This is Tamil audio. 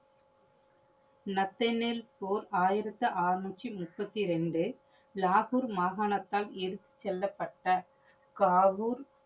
நஸ்ரெனில் போர் ஆயிரத்தி ஆறநூற்றி முப்பத்தி இரண்டு. லாகூர் மாகனத்தால் எடுத்து செல்லப்பட்ட காகுர்